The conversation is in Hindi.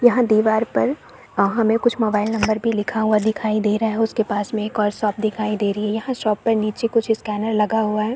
यहाँ दीवार पर अ हमें कुछ मोबाइल नंबर भी लिखा हुआ दिखाई दे रहा है उसके पास में एक और शॉप दिखाई दे रही है यह शॉप में नीचे कुछ स्कैनर लगा हुआ है।